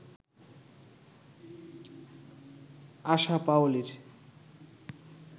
আসা পাওলীর